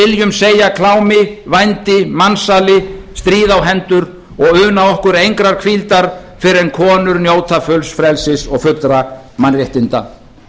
viljum segja klámi vændi mansali stríð á hendur og unna okkur engrar hvíldar fyrr en konur njóta fulls frelsis og fullra mannréttinda